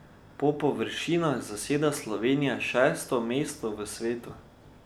Po površinah zaseda Slovenija šesto mesto v svetu.